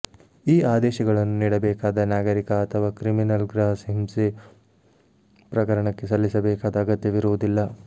ಈ ಆದೇಶಗಳನ್ನು ನೀಡಬೇಕಾದ ನಾಗರಿಕ ಅಥವಾ ಕ್ರಿಮಿನಲ್ ಗೃಹ ಹಿಂಸೆ ಪ್ರಕರಣಕ್ಕೆ ಸಲ್ಲಿಸಬೇಕಾದ ಅಗತ್ಯವಿರುವುದಿಲ್ಲ